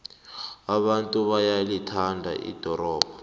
abantu bayalithanda ldorobho